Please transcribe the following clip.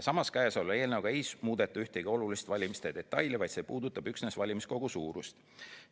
Samas, käesoleva eelnõuga ei muudeta ühtegi olulist valimiste detaili, vaid see eelnõu puudutab üksnes valimiskogu suurust.